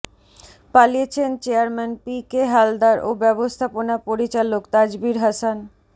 পালিয়েছেন chairman P K Haldar ও ব্যবস্থাপনা পরিচালক তাজবীর হাসান